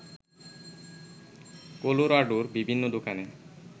কলোরাডোর বিভিন্ন দোকানে